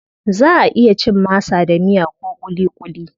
Zaʼa iya cin masa da miya ko kulikuli.